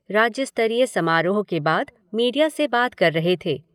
राज्य स्तरीय समारोह के बाद मीडिया से बात कर रहे थे।